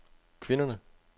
kvinderne